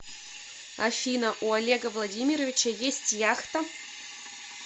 афина у олега владимировича есть яхта